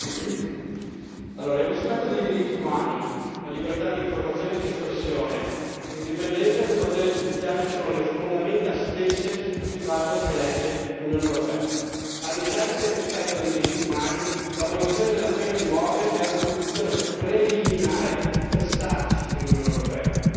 Signor Presidente, onorevoli colleghi, il rispetto dei diritti umani, la libertà d'informazione e di espressione, l'indipendenza del potere giudiziario sono le fondamenta stesse su cui si basa e si regge l'Unione europea. All'interno del rispetto dei diritti umani, l'abolizione della pena di morte è una condizione preliminare per stare nell'Unione europea.